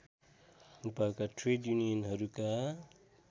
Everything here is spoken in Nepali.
नेपालका ट्रेड युनियनहरूका